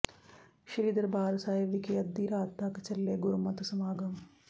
ਸ੍ਰੀ ਦਰਬਾਰ ਸਾਹਿਬ ਵਿਖੇ ਅੱਧੀ ਰਾਤ ਤਕ ਚੱਲੇ ਗੁਰਮਤਿ ਸਮਾਗਮ